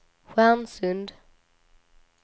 Stjärnsund